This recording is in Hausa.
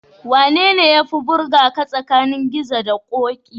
Wanene yafi burgaka tsakanin Gizo da Ƙoƙi?